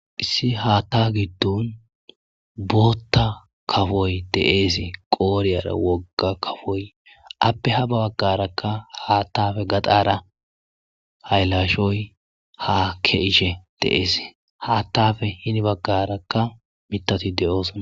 Issi hata gidon bota kapoyi de'es qodheyara wogay kapoy eyape habagaraka hata gaxara hayilashoy hake'ishe de'es hatape hini bagaraka mithati de'osona